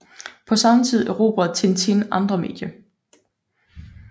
På samme tid erobrede Tintin andre medier